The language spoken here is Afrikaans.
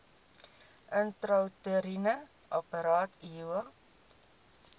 intrauteriene apparaat iua